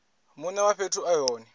mune wa fhethu e hone